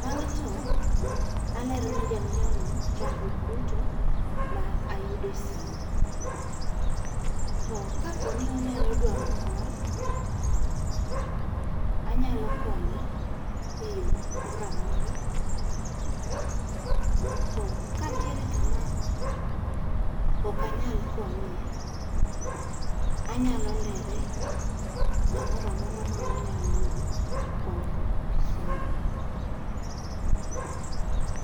Bang'e to alero ne jang'iewo no chandruok duto ma ayudo e simu. To kapo ni onyalo dwaro kony, anyalo konye e yo moramora to ka ntiere kama ok anyal konye, anyalo lere kamora amora ma onyalo yudo konyruok gi simuno.